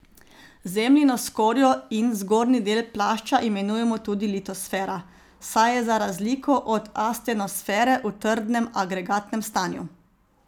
Zemljino skorjo in zgornji del plašča imenujemo tudi litosfera, saj je za razliko od astenosfere v trdnem agregatnem stanju.